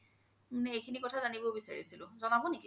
মানে এইখিনি কথা জানিব বিচাৰিছিলো জ্নাব নেকি ?